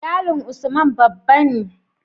Iyalin Usman babba ne